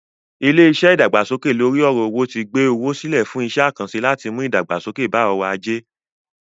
Ilé-iṣẹ́ ìdàgbàsókè lóri ọ̀rọ̀ owó ti gbé owó sílẹ̀ fún iṣẹ́-àkànṣẹ láti mú ìdàgbàsókè bá ọrọ̀-ajé.